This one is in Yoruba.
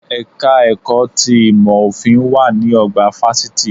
Ẹ̀ka ẹ̀kọ́ ti ìmọ̀ òfin wà ní ọgbà fásitì